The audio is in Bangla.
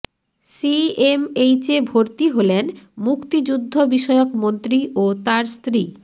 সিএমএইচে ভর্তি হলেন মুক্তিযুদ্ধ বিষয়ক মন্ত্রী ও তার স্ত্রী